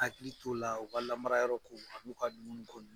Hakili t'o la u ka lamara yɔrɔ ko a n'u ka dunun ko.